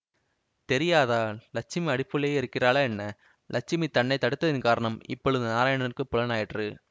தெரியாதா லக்ஷ்மி அடுப்புள்ளேயே இருக்கிறாளா என்ன லக்ஷ்மி தன்னை தடுத்ததின் காரணம் இப்பொழுது நாராயணனுக்குப் புலனாயிற்று